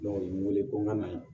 u ye n wele ko n ka na